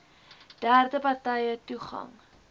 derde partye toegang